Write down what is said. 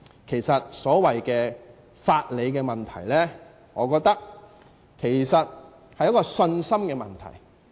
其實，所謂法理的問題，我覺得是信心的問題。